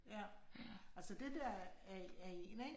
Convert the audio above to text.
Ja, altså det der er er en, ik?